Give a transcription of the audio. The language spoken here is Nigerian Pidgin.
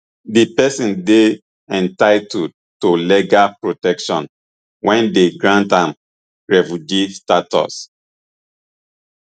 di pesin dey entitled to legal protection wen dem grant am refugee status